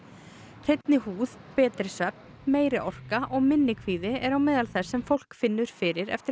hreinni húð betri svefn meiri orka og minni kvíði eru á meðal þess sem fólk finnur fyrir eftir